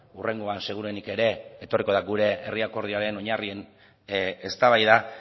hurrengoan seguruenik ere etorriko da gure herri akordioaren oinarrien eztabaida